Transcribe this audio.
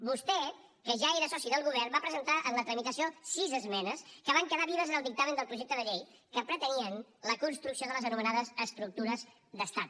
vostè que ja era soci del govern va presentar en la tramitació sis esmenes que van quedar vives en el dictamen del projecte de llei que pretenien la construcció de les anomenades estructures d’estat